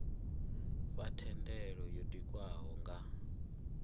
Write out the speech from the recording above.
fha thendelo yo tikwaho nga